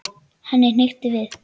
Henni hnykkti við.